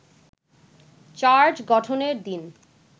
charge গঠনের দিন